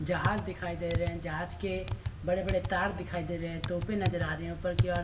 जहाज दिखाई दे रहे जहाज के बड़े-बड़े तार दिखाई दे रहे तोपे नजर आ रही ऊपर की ओर --